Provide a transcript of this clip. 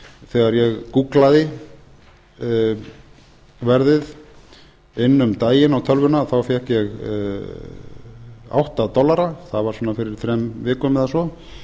þegar ég gúgglaði verðið inn um daginn á tölvuna þá fékk ég átta dollara það var svona fyrir þremur vikum eða svo